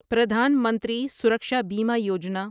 پردھان منتری سرکشا بیمہ یوجنا